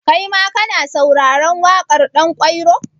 Kaima ka na sauraren waƙar Ɗanƙwairo?